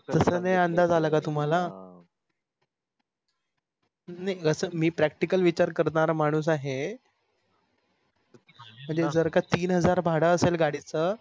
त्याच नाही अंदाज आला का तुम्हाला मी practical विचार करणारा माणूस आहे. म्हणजे जर का तीन हजार भाड आसेल गाडीच